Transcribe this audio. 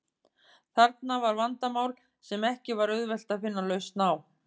Þarna var vandamál sem ekki var auðvelt að finna lausn á.